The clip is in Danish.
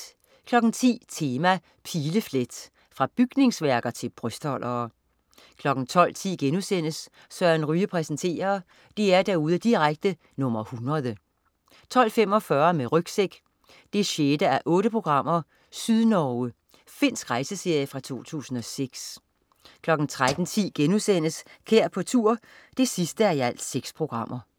10.00 Tema: Pileflet. Fra bygningsværker til brystholdere 12.10 Søren Ryge præsenterer.* DR-derude direkte nr. 100 12.45 Med rygsæk 6:8. Sydnorge. Finsk rejseserie fra 2006 13.10 Kær på tur 6:6*